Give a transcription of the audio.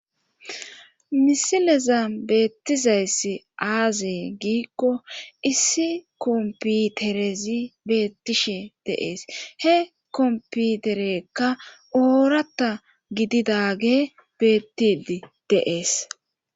misileza beettizayssi aaze giikko issi komputerezi beettishi deees. he komputerekka ooratta gididage bettidi deees.